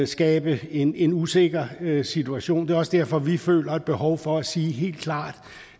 skabe en en usikker situation det er også derfor vi føler et behov for at sige helt klart